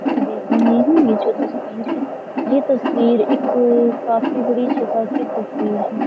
मैं देख रहे हैं यह जो तस्वीर है यह तस्वीर एक काफी बड़ी जगह की तस्वीर है।